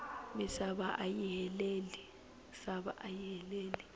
misava ayi heleli